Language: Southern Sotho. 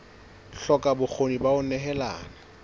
hloka bokgoni ba ho nehelana